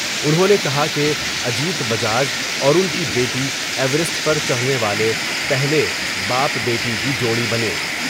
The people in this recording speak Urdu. انہوں نے کہا کہ اجیت بجاج اور ان کی بیٹی ایورسٹ پر چڑھنے والے پہلے باپ بیٹی کی جوڑی بنے ۔